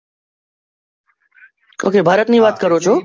Oaky Bharat ની વાત કરો છો?